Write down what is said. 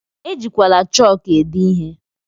Ejikwala chọk ede ihe!